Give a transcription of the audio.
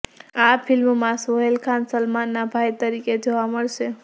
આ ફિલ્મમાં સોહેલ ખાન સલમાનના ભાઇ તરીકે જોવા મળશે